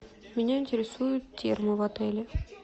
меня интересуют термы в отеле